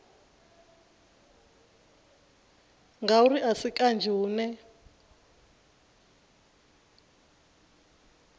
ngauri a si kanzhi hune